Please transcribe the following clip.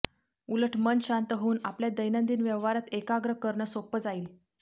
उलट मन शांत होऊन आपल्या दैनंदिन व्यवहारात एकाग्र करणं सोपं जाईल